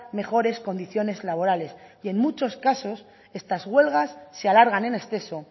mejores condiciones laborales y en muchos casos estas huelgas se alargan en exceso